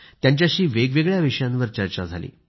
त्यांच्याशी वेगवेगळ्या विषयांवर चर्चा केली